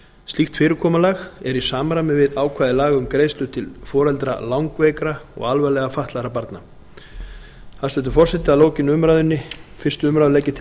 slíkt fyrirkomulag er í samræmi við ákvæði laga um greiðslur til foreldra langveikra og alvarlega fatlaðra barna hæstvirtur forseti að lokinni fyrstu umræðu legg ég til